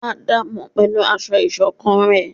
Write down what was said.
À daámọ pẹlú aṣọ isokán rẹ